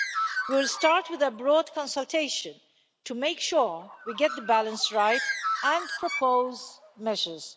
We will start with a broad consultation to make sure we get the balance right and propose measures.